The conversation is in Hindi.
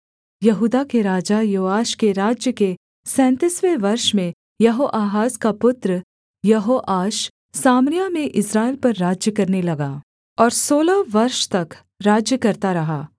यहूदा के राजा योआश के राज्य के सैंतीसवें वर्ष में यहोआहाज का पुत्र यहोआश सामरिया में इस्राएल पर राज्य करने लगा और सोलह वर्ष तक राज्य करता रहा